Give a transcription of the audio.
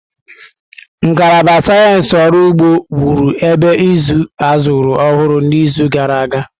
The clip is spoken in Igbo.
Ngalaba Sayensị Ọrụ Ugbo wụrụ ebe ịzụ azụrụ ọhụrụ n'izu gara aga.